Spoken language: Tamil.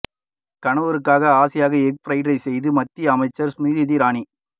கணவருக்காக ஆசையாக எக் ஃபிரைட் ரைஸ் செய்த மத்திய அமைச்சர் ஸ்மிரிதி இரானி